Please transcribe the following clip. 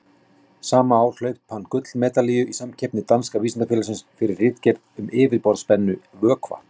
Sama ár hlaut hann gullmedalíu í samkeppni Danska vísindafélagsins, fyrir ritgerð um yfirborðsspennu vökva.